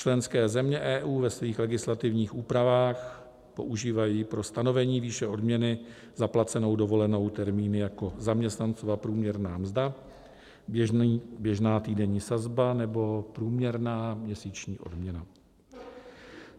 Členské země EU ve svých legislativních úpravách používají pro stanovení výše odměny za placenou dovolenou termíny jako zaměstnancova průměrná mzda, běžná týdenní sazba nebo průměrná měsíční odměna.